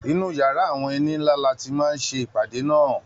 Inú yàrá àwọn ẹni ńlá ni a ti máa ṣe ìpàdé náà.